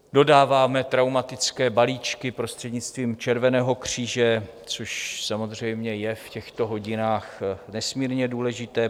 Dodáváme traumatické balíčky prostřednictvím Červeného kříže, což samozřejmě je v těchto hodinách nesmírně důležité.